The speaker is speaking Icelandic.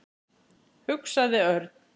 hugsaði Örn.